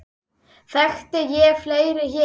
Þekkti ég fleiri hér?